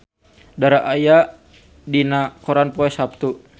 Dara aya dina koran poe Saptu